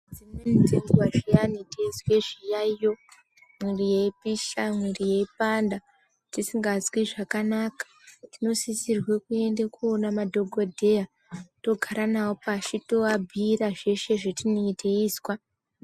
Dzimweni dzenguwa zviyani teizwa zviyayo mwiri yeioisha mwiri yeipanda tinosisirwa kuenda koona madhokodheya togara nawo pashi tovabhiira zveshe zvatinenge teizwa.